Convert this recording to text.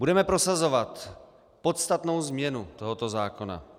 Budeme prosazovat podstatnou změnu tohoto zákona.